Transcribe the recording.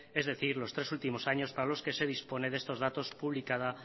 es decir los tres últimos años para los que se dispone de estos datos publicada